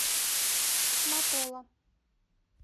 матола